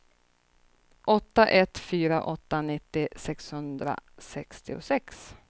åtta ett fyra åtta nittio sexhundrasextiosex